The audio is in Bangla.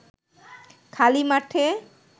খালি মাঠে